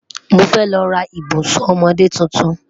Mo fẹ́ lọ́ rà ìbùṣún ọmọdé títún.